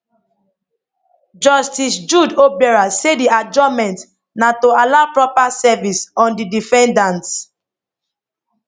justice jude obiorah say di adjournment na to allow proper service on di defendants